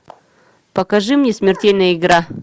покажи мне смертельная игра